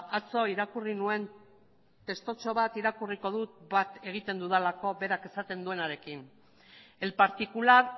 atzo irakurri nuen testutxo bat irakurriko dut bat egiten dudalako berak esaten duenarekin el particular